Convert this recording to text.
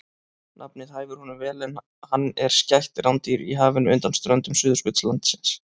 Nafnið hæfir honum vel en hann er skætt rándýr í hafinu undan ströndum Suðurskautslandsins.